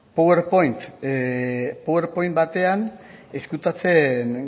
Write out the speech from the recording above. powerpoint batean ezkutatzen